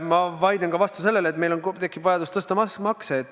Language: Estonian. Ma vaidlen ka vastu sellele, et meil tekib vajadus tõsta makse.